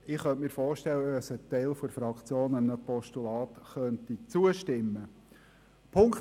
Ich kann mir vorstellen, dass ein Teil der Fraktion einem Postulat zustimmen könnte.